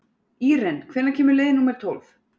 Íren, hvenær kemur leið númer tólf?